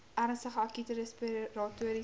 ernstige akute respiratoriese